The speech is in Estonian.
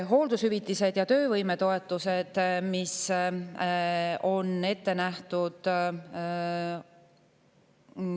Hooldushüvitised ja töövõime, mis on ette nähtud.